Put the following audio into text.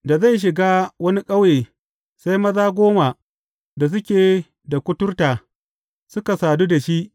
Da zai shiga wani ƙauye, sai maza goma da suke da kuturta suka sadu da shi.